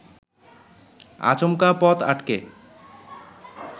আচমকা পথ আটকে